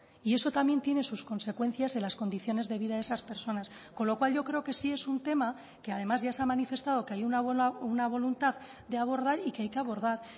y eso también tiene sus consecuencias en las condiciones de vida de esas personas con lo cual yo creo que sí es un tema que además ya se ha manifestado que hay una voluntad de abordar y que hay que abordar